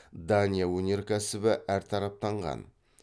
дания өнеркәсібі әртараптанған